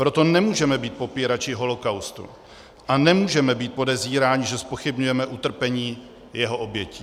Proto nemůžeme být popírači holocaustu a nemůžeme být podezíráni, že zpochybňujeme utrpení jeho obětí.